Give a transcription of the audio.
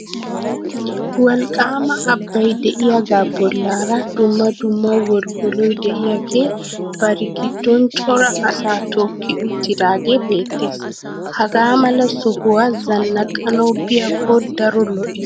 Wolqqaama abbay de'iyagaa bollaara dumma dumma woliwoloy de'iyagee bari giddon cora asaa tookki uttidaagee beettees. Hagaa mala sohuwa zannaqanawu biyakko daro lo"ees.